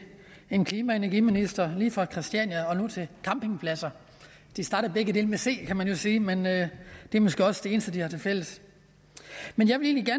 en klima og energiminister lige fra christiania og nu til campingpladser de starter jo begge med c kan man sige men det er måske også det eneste de har til fælles men jeg vil egentlig